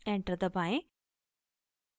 enter दबाएं